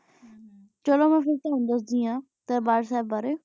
ਚਲੋ ਫਿਰ ਮੈਂ ਤੁਵਾਨੂੰ ਦਸਦੀ ਆਂ ਦਰਬਾਰ ਸਬ